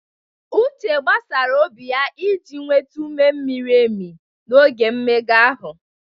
Uche gbasaara obi ya iji nweta ume miri emi n'oge mmega ahụ.